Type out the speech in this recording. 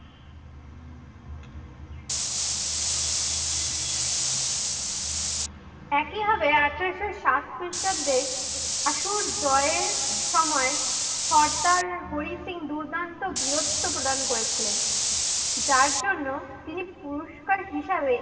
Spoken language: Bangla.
একিভাবে আঠারোশ সাত খ্রিষ্টাব্দে আসোর জয়ের সময় সর্দার হরি সিং দুর্দান্ত বীরত্ব প্রধান করেছিলেন। যার জন্য তিনি পুরস্কার হিসাবে